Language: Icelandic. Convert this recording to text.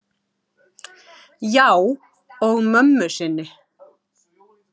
Já, og mömmu sinni.